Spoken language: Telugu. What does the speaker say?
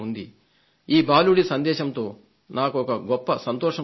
ఈ బాలుడి సందేశంతో నాకొక గొప్ప సంతోషం కలిగింది